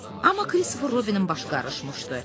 Amma Kristofer Robinin başı qarışmışdı.